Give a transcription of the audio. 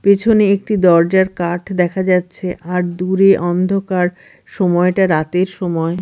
পেছনে একটি দরজার কাঠ দেখা যাচ্ছে আর দূরে অন্ধকার সময়টা রাতের সময়।